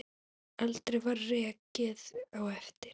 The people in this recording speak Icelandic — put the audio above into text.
Aldrei var rekið á eftir.